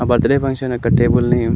ఆ birthday function అక్కడ table ని --